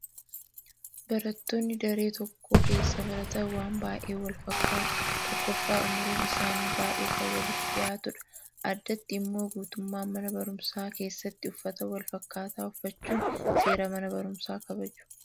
Barattoonni daree tokko keessa baratan waan baay'een wal fakkaatu. Tokkoffaa umriin isaanii baay'ee kan walitti dhiyaatudha. Addatti immoo guutummaa mana barumsaa keessatti uffata wal fakkaataa uffachuun seera mana barumsaa kabaju.